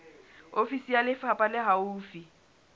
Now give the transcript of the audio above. ofisi ya lefapha le haufi